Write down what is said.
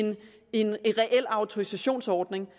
en reel autorisationsordning